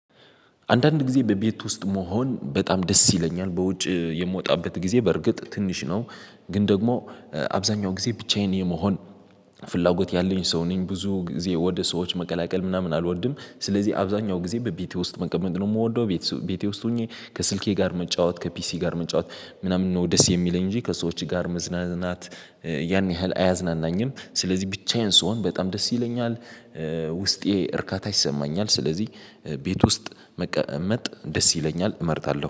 አንዳንድ ጊዜ በቤት ውስጥ መሆን በጣም ደስ ይለኛል በውጭ የምወጣበት ጊዜ በርግጥ ትንሽ ነው። ግን ደግሞ አብዛኛው ጊዜ ብቻዬን የመሆን ፍላጎት ያለኝ ሰው ነኝ። ብዙ ጊዜ ወደ ሰዎች መቀላቀል ምናምን አልወድም ስለዚህ አብዛኛው ጊዜ በቤቴ ውስጥ መቀመጥ ነው የምወደው። ቤቴ ውስጥ ሆኜ ከስልኬ ጋር መጫወት ከፒሲ ጋር መጫወት ምናምን ነው ደስ የሚለኝ እንጂ ከሰዎች ጋር መዝናናት ያን ያህል አያዝናናኝም። ስለዚህ ብቻዬን ስሆን በጣም ደስ ይለኛል። ውስጤ እርካታ ይሰማኛል። ስለዚህ ቤት ውስጥ መቀመጥ ደስ ይለኛል እመርጣለሁ